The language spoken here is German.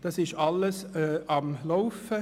Das ist alles am Laufen;